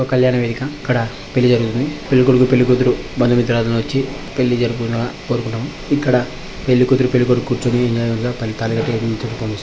ఒక కళ్యాణ వేదిక ఇక్కడ పెళ్ళి జరుగుతుంది. పెళ్ళి కొడుకు పెళ్ళి కూతురు బందు మిత్రాదులు వచ్చి పెళ్ళి జరుపును కోరుకుంటాము. ఇక్కడ పెళ్ళి కూతురు పెళ్ళి కొడుకు కుర్చోని వినేయంగా పెళ్ళి తాళి కట్టే-- ]